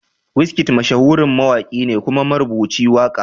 Wizkid mashahurin mawaki ne kuma marubuci waka.